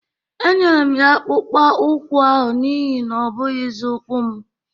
Enyere m ya akpụkpọ ụkwụ ahụ n'ihi na ọ bụghịzi ukwu m